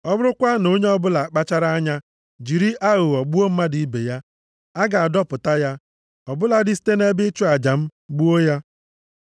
Ọ bụrụkwa na onye ọbụla akpachara anya jiri aghụghọ gbuo mmadụ ibe ya, a ga-adọpụta ya, ọ bụladị site nʼebe ịchụ aja m, gbuo ya.